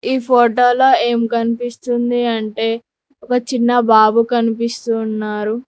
ఈ ఫోటోలో ఏం కనిపిస్తుంది అంటే ఒక చిన్న బాబు కనిపిస్తు వున్నారు.